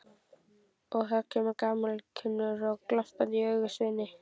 Og það kemur gamalkunnur glampi í augun á Sveini.